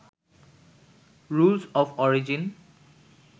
rules of origin